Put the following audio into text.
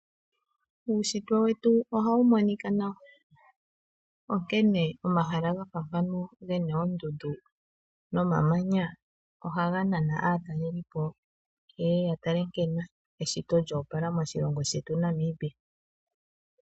Uunshitwe wetu ohawu monika nawa onkene omahala gena oondundu nomamanya ohaga nana aatalelipo yeye yatale nkene eshito lyoopala noshilongo shetu Namibia.